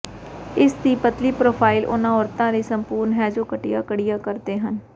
ਇਸ ਦੀ ਪਤਲੀ ਪਰੋਫਾਈਲ ਉਹਨਾਂ ਔਰਤਾਂ ਲਈ ਸੰਪੂਰਣ ਹੈ ਜੋ ਘਟੀਆ ਕੜੀਆਂ ਕਰਦੇ ਹਨ